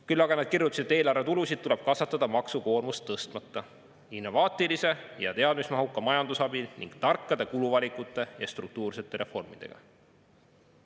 Küll aga nad kirjutasid: "Eelarvetulusid tuleb kasvatada maksukoormust tõstmata innovaatilise ja teadmismahuka majanduse abil ning tarkade kuluvalikute ja struktuursete reformidega.